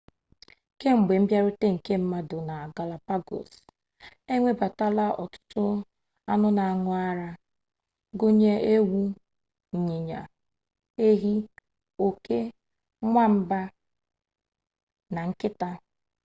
ke, gbe mbịarute nke mmadụ na galapagos ewebatala ọtụtụ anụ na-an̄ụ ara gụnyere ewu inyinya ehi oke nwamba na nkịta